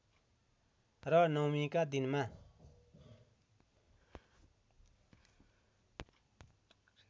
र नवमीका दिनमा